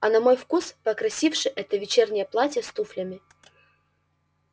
а на мой вкус покрасивше это вечернее платье с туфлями